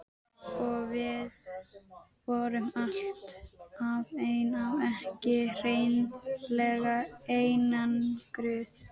Og við vorum alltaf ein ef ekki hreinlega einangruð.